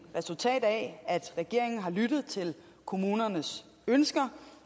resultat af at regeringen har lyttet til kommunernes ønsker